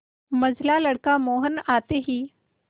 मंझला लड़का मोहन आते ही